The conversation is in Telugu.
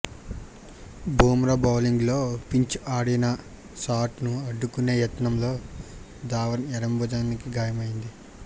బుమ్రా బౌలింగ్లో ఫించ్ ఆడిన షాట్ను అడ్డుకునే యత్నంలో ధావన్ ఎడమ భుజానికి గాయమైంది